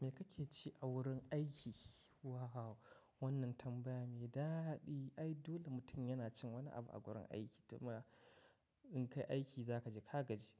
"Me kake ci a wurin aiki?" Wao! Wannan tambaya mai daɗi. Ai dole mutum yana cin wani abu a gurin aiki domin in kayi aiki za kaji kagaji.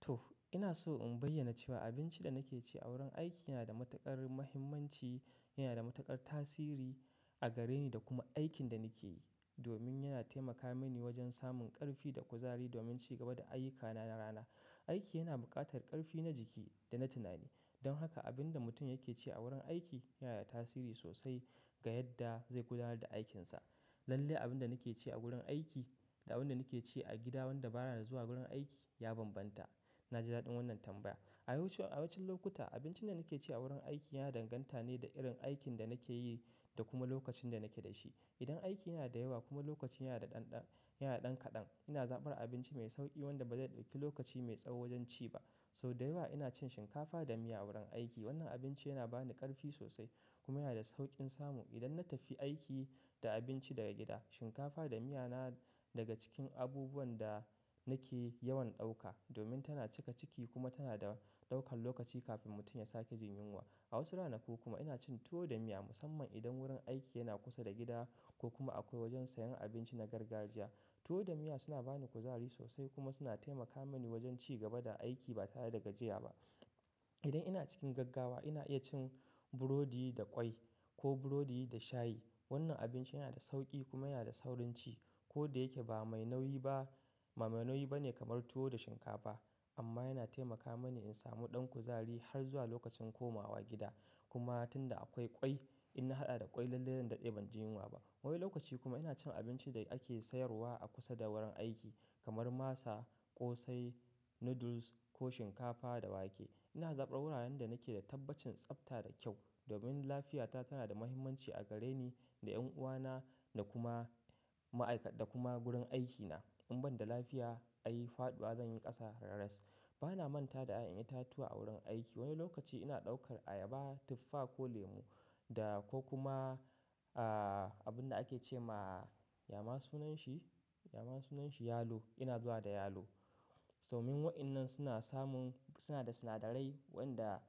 To, ina so in bayyana cewa abincin da nake ci a wurin aiki yana da matuƙar muhimmanci, yana da matuƙar tasiri a gare ni da kuma aikin da nake yi domin yana taimaka mini wajen samun ƙarfi da kuzari domin cigaba da ayyukana na rana. Aiki yana buƙatar ƙarfi na jiki da na tunani. Don haka abin da mutum yake ci a wurin aiki yana da tasiri sosai ga yadda zai gudanar da aikinsa. Lalle abin da nake ci a gurin aiki da abin da nake ci a gida, wadda ba ya zuwa gurin aiki ya bambanta. Na ji daɗin wannan tambaya. A wasu, a wasu lokuta abincin da nake ci a wurin aiki yana danganta ne da irin aikin da nake yi da kuma lokacin da nake da shi. Idan aiki yana da yawa kuma lokacin yana da ɗanɗan, yana ɗan kaɗan, ina zabar abinci mai sauƙi wanda ba zai ɗauki lokaci mai tsawo wajen ci ba. Sau da yawa ina cin shinkafa da miya a wurin aiki. Wannan abinci yana bani ƙarfi sosai kuma yana da sauƙin samu. Idan na tafi aiki da abinci daga gida, shinkafa da miya na daga cikin abubuwan da nake yawan ɗauka domin tana cika ciki kuma tana da ɗaukan lokaci kafin mutum ya sake jin yunwa. A wasu ranaku kuma ina cin tuwo da miya musamman idan wurin aiki yana kusa da gida ko kuma akwai wajen sayan abinci na gargajiya. Tuwo da miya suna bani kuzari sosai kuma suna taimaka mini wajen cigaba da aiki ba tare da gajiya ba. Idan ina cikin gaggawa ina iya cin burodi da ƙwai ko burodi da shayi. Wannan abinci yana da sauƙi kuma yana da saurin ci. Ko da yake ba mai nauyi ba, ba mai nauyi ba ne kamar tuwo da shinkafa amma yana taimaka mini in samu ɗan kuzari har zuwa lokacin komawa gida. Kuma tun da akwai ƙwai in na haɗa da ƙwai lalle zan ɗade ban jin yunwa ba. Wani lokaci kuma ina cin abincin da ake sayarwa a kusa da wurin aiki kamar masa, ƙosai, noodles ko shinkafa da wake. Ina zaɓa wuraren da nake da tabbacin tsafta da kyau domin lafiyata tana da muhimmanci a gare ni, da ƴan uwa na, da kuma ma'aikata kuma gurin aikina. In ban da lafiya ai faɗuwa zan yi ƙasa raras. Ba na manta da ai yan itatuwa a wurin aiki. Wani lokaci ina ɗaukar ayaba, tufa ko lemu da ko kuma, ah, abin da ake ce ma, ya ma sunan shi? Ya ma sunan shi? Yalo. Ina zuwa da yalo. Domin waɗannan suna samun, suna da sinadarai wanda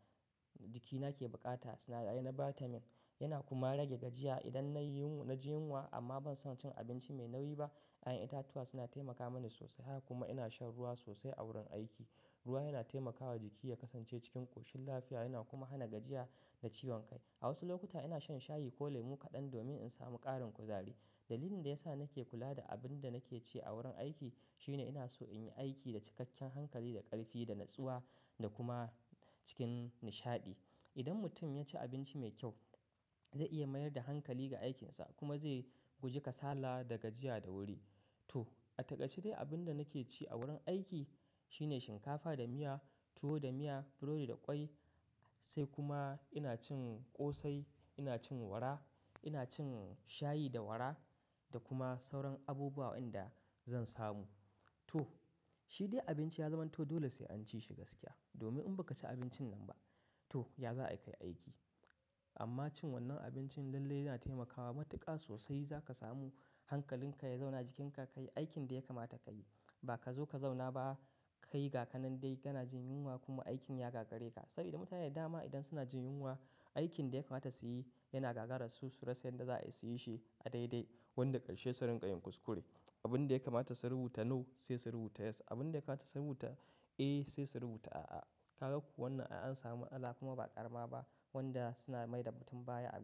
jikina ke buƙata. Sinadarai na vitamin yana kuma rage gajiya. Idan na ji yunwa, na jin yunwa amma ban so cin abinci mai nauyi ba. Ƴan itatuwa suna taimaka mani sosai. Haka kuma ina shan ruwa sosai a wurin aiki. Ruwa yana taimakawa jiki ya kasance cikin ƙoshin lafiya yana kuma hana gajiya da ciwon kai. A wasu lokuta ina shan shayi ko lemu kaɗan domin in samu ƙarin kuzari. Dalilin da ya sa nake kula da abin da nake ci a wurin aiki shine ina so in yi aiki da cikakken hankali, da ƙarfi, da natsuwa da kuma cikin nishaɗi. Idan mutum ya ci abinci mai kyau zai iya mayar da hankali ga aikinsa kuma zai guji kasala da gajiya da wuri. To, a taƙaice dai abin da nake ci a wurin aiki shine shinkafa da miya, tuwo da miya, burodi da ƙwai. Sai kuma ina cin ƙosai, ina cin wara, ina cin shayi da wara da kuma sauran abubuwa wanda zan samu. To, shi dai abinci ya zamanto dole sai an ci shi gaskiya domin in ba ka ci abincin nan ba to ya za a yi kayi aiki? Amma cin wannan abincin lalle yana taimakawa matuƙa sosai. Za ka samu hankalinka ya zauna jikinka ka yi aikin da ya kamata ka yi. Ba ka zo ka zauna ba ka yi ga ka nan dai kana jin yunwa kuma aikin ya gagare ka. Saboda mutane da dama idan suna jin yunwa aikin da ya kamata su yi yana gagararsu su rasa yarda za a yi shi a daidai wanda ƙarshe su rinƙa yin kuskure. Abin da ya kamata su rubuta "no" sai su rubuta "yes." Abin da ya kamata su rubuta "A" sai su rubuta "A'a." Ka ga ku wannan an sami matsallah kuma ba ƙarama ba wadda suna mai da mutum baya a.